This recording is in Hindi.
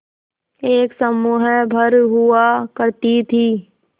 एक समूह भर हुआ करती थी